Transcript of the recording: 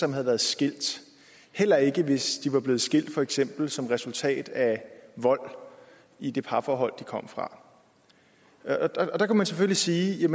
som havde været skilt heller ikke hvis de var blevet skilt for eksempel som resultat af vold i det parforhold de kom fra der kan man selvfølgelig sige